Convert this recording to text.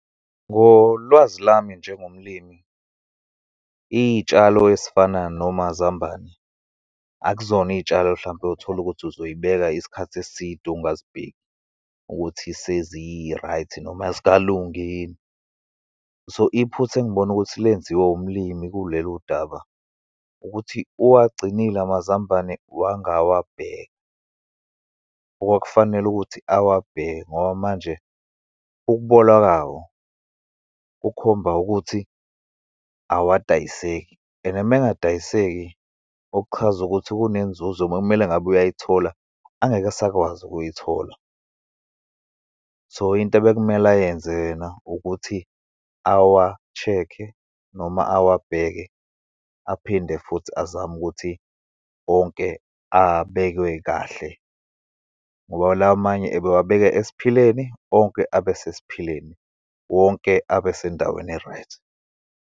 Ngolwazi lami njengomlimi, iy'tshalo esifana nomazambane akuzona iy'tshalo, hlampe utholukuthi uzoyibeka isikhathi eside, ungazibheki ukuthi sezi-right noma azikalungi yini. So, iphutha engibona ukuthi lenziwe umlimi kuleludaba, ukuthi uwagcinile amazambane wangawabheka, okwakufanele ukuthi awabheke, ngoba manje ukubola kawo kukhomba ukuthi awadayiseki and uma engadayiseki okuchaza ukuthi kunenzuzo, bekumele ngabe uyayithola angeke asakwazi ukuyithola. So, into ebekumele ayenze yena ukuthi awa-check-e, noma awabheke, aphinde futhi azame ukuthi onke abekwe kahle, ngoba lamanye ebewabeke esiphileni, onke abe sesiphileni, wonke abe sendaweni e-right.